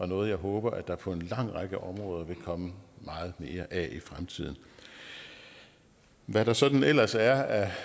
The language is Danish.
noget jeg håber at der på en lang række områder vil komme meget mere af i fremtiden hvad der sådan ellers er af